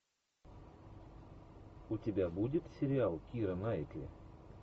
у тебя будет сериал кира найтли